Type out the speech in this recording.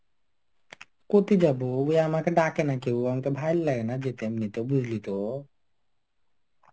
কোথায় যাবো? উই আমাকে ডাকে না কেউ. আমাকে ভাইল লাগে না যেতে এমনিতে. বুঝলি তো.